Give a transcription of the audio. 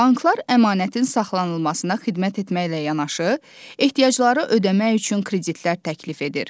Banklar əmanətin saxlanılmasına xidmət etməklə yanaşı, ehtiyacları ödəmək üçün kreditlər təklif edir.